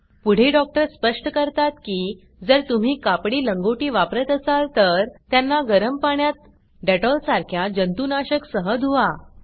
पुढे डॉक्टर स्पष्ट करतात की जर तुम्ही कापडी लंगोटी वापर्ट असाल तर त्यांना गरम पाण्यात डेटोल सारख्या जंतुनाशक सह धुवा